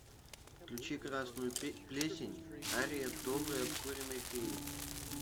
включи красную плесень ария доброй обкуренной феи